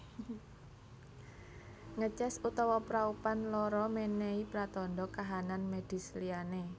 Ngeces utawa praupan lara menehi pratandha kahanan medis liyane